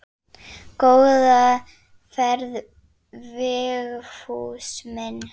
Það er skrýtið að heyra.